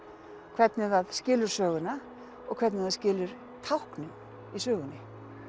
hvernig það skilur söguna og hvernig það skilur táknin í sögunni